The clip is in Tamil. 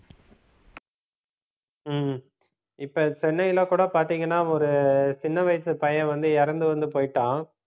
உம் இப்ப சென்னையில கூட பார்த்தீங்கன்னா ஒரு சின்ன வயசு பையன் வந்து இறந்து வந்து போயிட்டான்